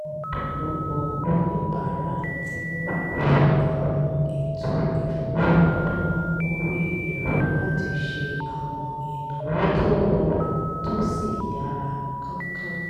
ọ̀pọ̀lọpọ̀ oníbàárà ti ń lo àwọn ètò ìfowópamọ́ orí ẹ̀rọ láti ṣe àwọn ìnáwó tó rọrùn tó sì yára kánkán